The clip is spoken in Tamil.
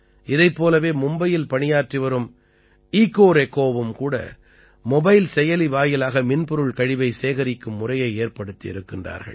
இதைப் போலவே மும்பையில் பணியாற்றிவரும் ஈகோரெகோவும் கூட மொபைல் செயலி வாயிலாக மின்பொருள் கழிவை சேகரிக்கும் முறையை ஏற்படுத்தி இருக்கிறார்கள்